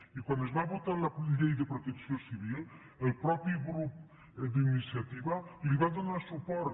i quan es va votar la llei de protecció civil el mateix grup d’iniciativa hi donar suport